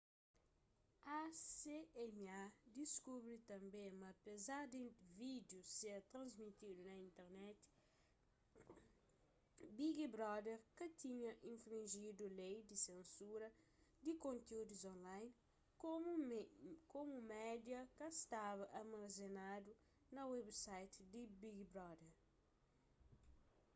acma diskubri tanbê ma apezar di vídiu ser transmitidu na internet big brother ka tinha infrinjidu lei di sensura di kontiúdus online komu media ka staba armazenadu na website di big brother